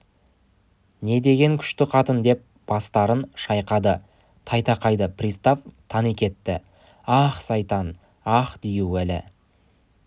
не деген күшті қатын деп бастарын шайқады тайтақайды пристав тани кетті ах сайтан ах дию әлі